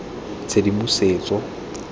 tshedimosetso